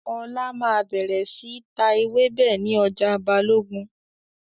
Ọlá máa bẹ̀rẹ̀ síí ta ewébẹ̀ ni ọjà Balogun